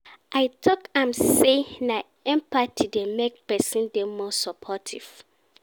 I tok am sey na empathy dey make pesin dey more supportive.